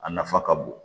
A nafa ka bon